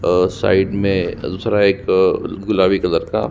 और साइड में दूसरा एक गुलाबी कलर का--